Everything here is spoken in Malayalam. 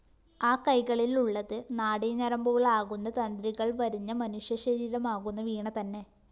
ആ കൈകളിലുള്ളത് നാഡിഞരമ്പുകളാകുന്ന തന്ത്രികള്‍ വരിഞ്ഞ മനുഷ്യശരീരമാകുന്ന വീണതന്നെ